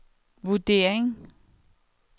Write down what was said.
vurdering